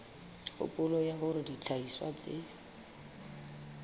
kgopolo ya hore dihlahiswa tse